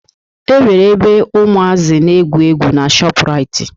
E nwere ebe umazi n'egwu egwu n'Shoprite